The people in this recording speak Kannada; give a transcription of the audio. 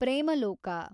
ಪ್ರೇಮಲೋಕ